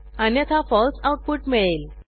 अन्यथा फळसे आऊटपुट मिळेल